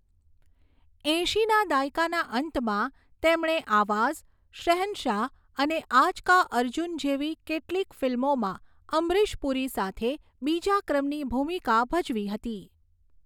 એંશીના દાયકાના અંતમાં તેમણે 'આવાઝ', 'શહેનશાહ' અને 'આજ કા અર્જુન' જેવી કેટલીક ફિલ્મોમાં અમરીશ પુરી સાથે બીજા ક્રમની ભૂમિકા ભજવી હતી.